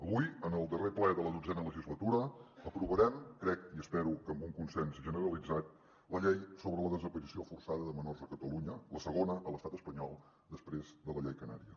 avui en el darrer ple de la xii legislatura aprovarem crec i espero que amb un consens generalitzat la llei sobre la desaparició forçada de menors a catalunya la segona a l’estat espanyol després de la llei canària